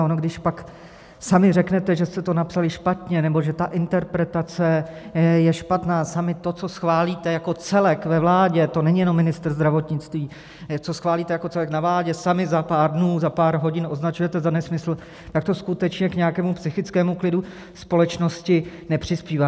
A ono když pak sami řeknete, že jste to napsali špatně nebo že ta interpretace je špatná, sami to, co schválíte jako celek ve vládě - to není jenom ministr zdravotnictví - co schválíte jako celek na vládě, sami za pár dnů, za pár hodin označujete za nesmysl, tak to skutečně k nějakému psychickému klidu společnosti nepřispívá.